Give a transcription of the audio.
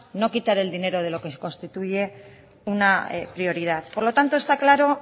no quitar el dinero de lo que constituye una prioridad por lo tanto está claro